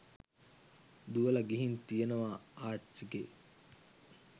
දුවල ගිහින් තියනව ආච්චිගෙ